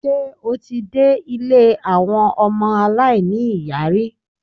Ṣé o ti dé ilé àwọn ọmọ aláìní-ìyá rí?